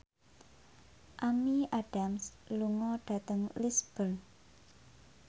Amy Adams lunga dhateng Lisburn